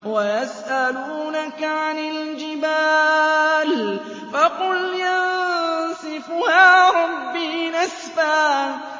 وَيَسْأَلُونَكَ عَنِ الْجِبَالِ فَقُلْ يَنسِفُهَا رَبِّي نَسْفًا